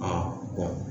Aa